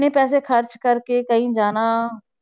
ਇੰਨੇ ਪੈਸੇ ਖ਼ਰਚ ਕਰਕੇ ਕਹੀਂ ਜਾਣਾ।